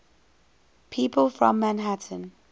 people from manhattan